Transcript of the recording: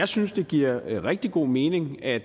synes det giver rigtig god mening at